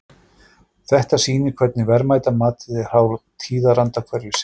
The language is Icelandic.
Þetta sýnir hvernig verðmætamatið er háð tíðaranda hverju sinni.